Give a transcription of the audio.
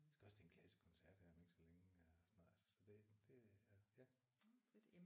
Jeg skal også til en klassisk koncert her om ikke så længe og sådan noget altså så det er ja